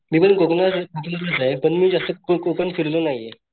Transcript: मी पण कोकणातला कोकणातलाचे पण मी जास्त कोकण फिरलो नाहीये.